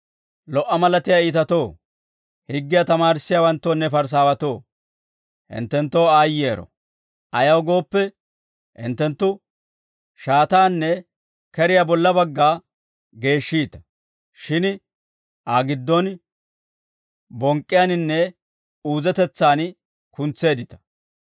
«Lo"a malatiyaa iitatoo, higgiyaa tamaarissiyaawanttoonne Parisaawatoo, hinttenttoo aayyero. Ayaw gooppe, hinttenttu shaataanne keriyaa bolla bagga geeshshiita; shin Aa gidduwaan bonk'k'iyaaninne uuzetetsaan kuntseeddita.